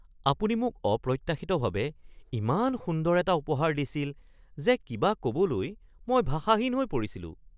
আপুনি মোক অপ্ৰত্যাশিতভাৱে ইমান সুন্দৰ এটা উপহাৰ দিছিল যে কিবা ক'বলৈ মই ভাষাহীন হৈ পৰিছিলোঁ।